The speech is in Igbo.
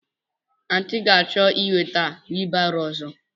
Aunty ga-achọ ị nweta wheelbarrow ọzọ.